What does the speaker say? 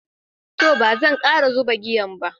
To, bazan kara zuɓa giyan ba.